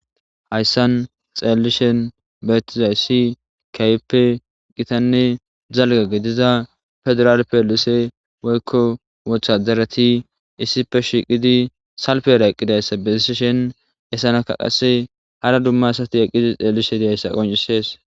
Hayissan xeellishen beettizayssi kaype qitanne zalga gediza fedural peelise woyikko wothadarati issife shiqidi salfera eqqidayssa bessi shen esanaka qase hara dumma asati eqqidi xeellishe dehayssa qoncisees